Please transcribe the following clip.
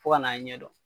Fo ka n'a ɲɛdɔn